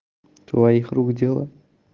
твоих рук дело